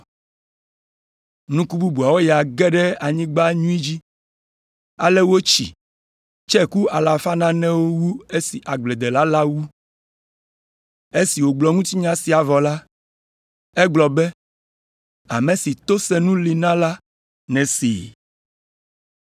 Nuku bubuwo ya ge ɖe anyigba nyui dzi, ale wotsi, tse ku alafa nanewo wu esi agbledela la wu.” Esi wògblɔ ŋutinya sia vɔ la, egblɔ be, “Ame si to senu li na la nesee.”